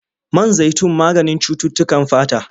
Man zaitun maganin cututtukan fata.